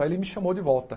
Aí ele me chamou de volta.